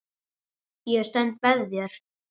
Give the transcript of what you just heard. Ég stend með þér.